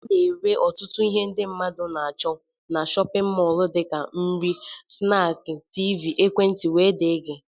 Ana ere ọtụtụ ihe mmadụ na-acho n'shóppin mol dika nri, snaaki, tiivii, ekwentị wdg.